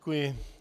Děkuji.